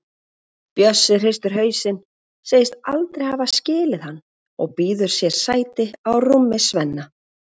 Bjössi hristir hausinn, segist aldrei hafa skilið hann og býður sér sæti á rúmi Svenna.